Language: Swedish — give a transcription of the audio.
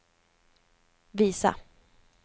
visa